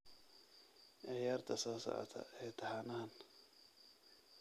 ciyaarta soo socota ee taxanahan